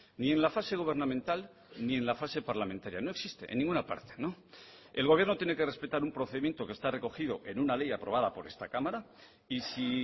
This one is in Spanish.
ni en la fase gubernamental ni en la fase parlamentaria no existe en ninguna parte el gobierno tiene que respetar un procedimiento que está recogido en una ley aprobada por esta cámara y si